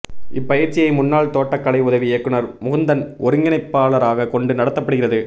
இப்பயிற்சியை முன்னாள் தோட்டக்கலை உதவி இயக்குனர் முகுந்தன் ஒருங்கிணைப்பாளராக கொண்டு நடத்தப்படுகிறது